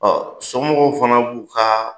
Ɔ somɔgɔw fana b'u ka